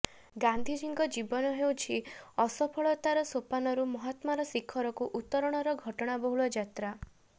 ଗାନ୍ଧିଜୀଙ୍କ ଜୀବନ ହେଉଛି ଅସଫଳତାର ସୋପାନରୁ ମହାତ୍ମାର ଶିଖରକୁ ଉତ୍ତରଣର ଘଟଣାବହୁଳ ଯାତ୍ରା